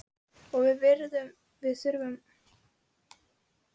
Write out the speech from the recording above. Og við þurfum að gera upp búreikningana!